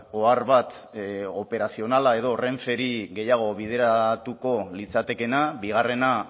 ohar bat operazionala edo renferi gehiago bideratuko litzatekeena bigarrena